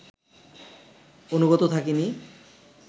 অনুগত থাকিনি